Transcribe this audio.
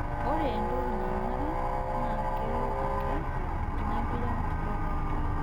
Ore entoki nanare naa kelo ake inapira dukuya